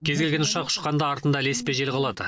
кез келген ұшақ ұшқанда артында ілеспе жел қалады